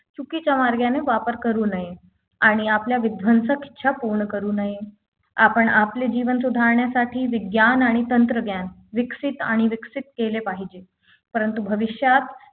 चुकीच्या मार्गाने वापर करू नये आणि आपल्या विध्वंसक इच्छा पूर्ण करू नये आपण आपले जीवन सुधारण्यासाठी विज्ञान आणि तंत्रज्ञान विकसित आणि विकसित केले पाहिजे परंतु भविष्यात